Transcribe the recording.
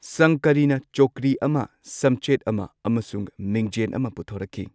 ꯁꯪꯀꯔꯤꯅ ꯆꯧꯀ꯭ꯔꯤ ꯑꯃ, ꯁꯝꯆꯦꯠ ꯑꯃ ꯑꯃꯁꯨꯡ ꯃꯤꯡꯓꯦꯟ ꯑꯃ ꯄꯨꯊꯣꯔꯛꯈꯤ꯫